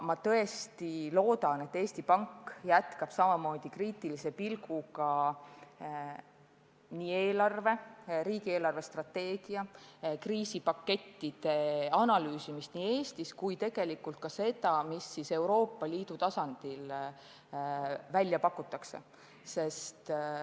Ma tõesti loodan, et Eesti Pank jätkab kriitilise pilguga eelarve, riigi eelarvestrateegia ja kriisipakettide analüüsimist ja tegelikult ka selle analüüsimist, mida Euroopa Liidu tasandil välja pakutakse.